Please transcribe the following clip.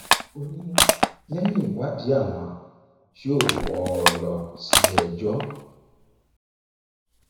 ó ní lẹyìn ìwádìí àwọn yóò wọ ọ lọ síléẹjọ